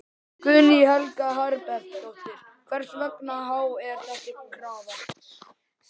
Guðný Helga Herbertsdóttir: Hversu há er þessi krafa?